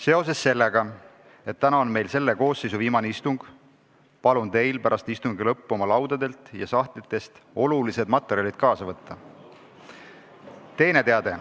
Seoses sellega, et täna on meil selle koosseisu viimane istung, palun teil pärast istungi lõppu oma laudadelt ja sahtlitest olulised materjalid kaasa võtta.